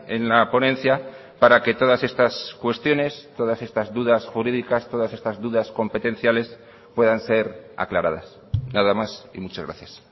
en la ponencia para que todas estas cuestiones todas estas dudas jurídicas todas estas dudas competenciales puedan ser aclaradas nada más y muchas gracias